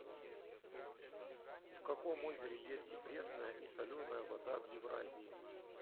в каком озере есть и пресная и соленая вода в евразии